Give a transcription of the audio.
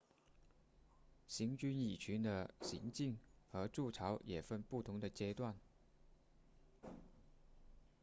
行军蚁群的行进和筑巢也分不同的阶段